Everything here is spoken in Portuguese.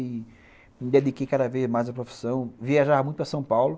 E me dediquei cada vez mais à profissão, viajava muito para São Paulo.